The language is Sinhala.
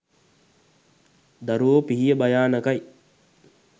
දරුවෝ පිහිය භයානකයි